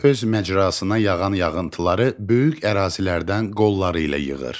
Çay öz məcrasına yağan yağıntıları böyük ərazilərdən qolları ilə yığır.